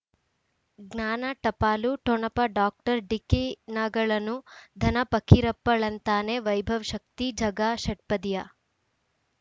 ಜ್ಞಾನ ಟಪಾಲು ಠೊಣಪ ಡಾಕ್ಟರ್ ಢಿಕ್ಕಿ ಣಗಳನು ಧನ ಫಕೀರಪ್ಪ ಳಂತಾನೆ ವೈಭವ್ ಶಕ್ತಿ ಝಗಾ ಷಟ್ಪದಿಯ